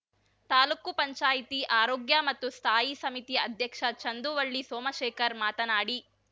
ತಾಲೂಕು ಪಂಚಾಯತಿ ಆರೋಗ್ಯಮತ್ತು ಸ್ಥಾಯಿ ಸಮಿತಿ ಅಧ್ಯಕ್ಷ ಚಂದುವಳ್ಳಿ ಸೋಮಶೇಖರ್‌ ಮಾತನಾಡಿ